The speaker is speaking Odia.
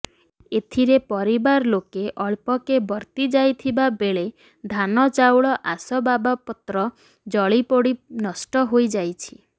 ଏଥିରେ ପରିବାର ଲୋକେ ଅଳ୍ପକେ ବର୍ତ୍ତି ଯାଇଥିବାବେଳେ ଧାନ ଚାଉଳ ଆସବାବପତ୍ର ଜଳିପୋଡି ନଷ୍ଟ ହୋଇଯାଇଛି